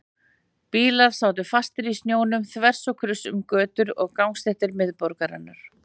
Bílar sátu fastir í snjónum þvers og kruss um götur og gangstéttir miðborgarinnar.